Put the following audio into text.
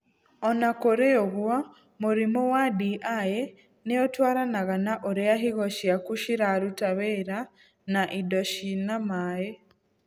O na kũrĩ ũguo, mũrimũ wa DI nĩ ũtwaranaga na ũrĩa higo ciaku ciraruta wĩra na indo cina maĩ.